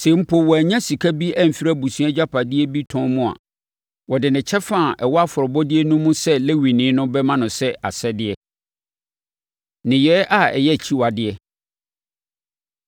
Sɛ mpo wanya sika bi afiri abusua agyapadeɛ bi tɔn mu a, wɔde ne kyɛfa a ɛwɔ afɔrebɔdeɛ no mu sɛ Lewini no bɛma no sɛ asɛdeɛ. Nneyɛɛ A Ɛyɛ Akyiwadeɛ